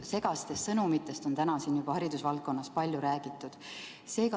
Segastest sõnumitest haridusvaldkonna kohta on täna siin juba palju räägitud.